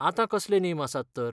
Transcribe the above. आतां कसले नेम आसात तर?